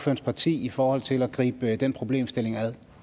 parti i forhold til at gribe den problemstilling